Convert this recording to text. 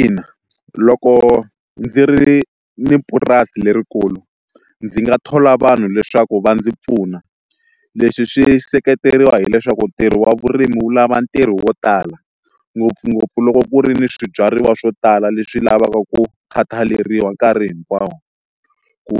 Ina, loko ndzi ri ni purasi lerikulu ndzi nga thola vanhu leswaku va ndzi pfuna leswi swi seketeriwa hileswaku ntirho wa vurimi wu lava ntirho wo tala ngopfungopfu loko ku ri ni swibyariwa swo tala leswi lavaka ku khataleriwa nkarhi hinkwawo ku